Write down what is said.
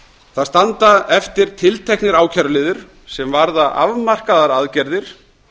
það standa eftir tilteknir ákæruliðir sem varða afmarkaðar aðgerðir